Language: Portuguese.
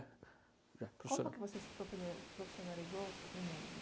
Como que você se profi profissionalizou em